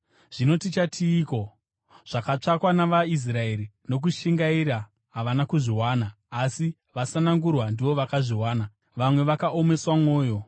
Zvino tichatiiko? Zvakatsvakwa navaIsraeri nokushingaira havana kuzviwana, asi vasanangurwa ndivo vakazviwana. Vamwe vakaomeswa mwoyo,